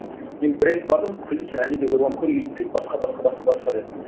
мен бір рет бардым күлді сен әлі де ойланып көр үйт бүйт басқа басқа басқа деді